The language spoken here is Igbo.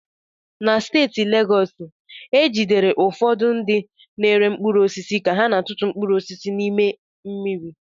Na steeti Legọs, e jidere ụfọdụ ndị na-ere mkpụrụ osisi ka ha na-atụtụ mkpụrụ osisi n'ime mmiri.